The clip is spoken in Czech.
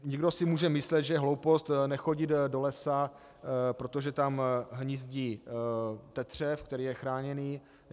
Někdo si může myslet, že je hloupost nechodit do lesa, protože tam hnízdí tetřev, který je chráněný.